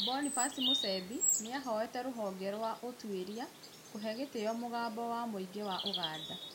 Boniface Musembi nĩahoete rũhonge rwa ũtũĩria kũhe gĩtĩo mũgambo wa mũingĩ wa Uganda